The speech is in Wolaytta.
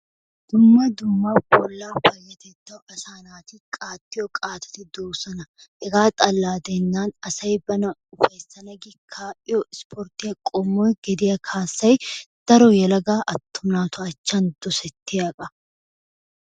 Dumma dumma bollaa payatettawu asaa naati qaaxxiyoo qaatatti de"oosona. hegaa xaalla gidenan asay bana ufayssana gi kaa'iyoo isporttiyaa qommoy gediyaa kaassay daro yelagaa attuma naatu achchan dosettiyaaba.